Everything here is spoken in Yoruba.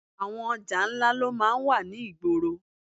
Àwọn ọjà ńlá ló máa ń wà ní ìgboro